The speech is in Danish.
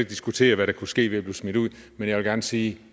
diskutere hvad der kunne ske ved at blive smidt ud men jeg vil gerne sige at